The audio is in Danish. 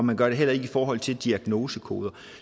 man gør det heller ikke i forhold til diagnosekoder